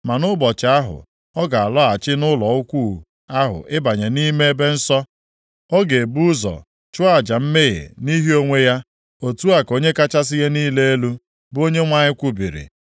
Ma nʼụbọchị ahụ, ọ ga-alọghachi nʼụlọ ukwu ahụ ịbanye nʼime ebe nsọ, ọ ga-ebu ụzọ chụọ aja mmehie nʼihi onwe ya. Otu a ka Onye kachasị ihe niile elu, bụ Onyenwe anyị kwubiri.